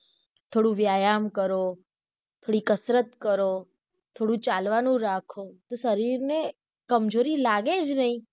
થોડું વ્યાયામ કરો, થોડી કસરત કરો, થોડું ચાલવાનું રાખો, તો શરીર ને કમજોરી લાગે જ નહિ.